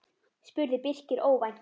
spurði Birkir óvænt.